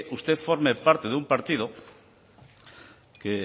usted forme parte de un partido que